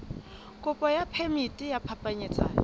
kopo ya phemiti ya phapanyetsano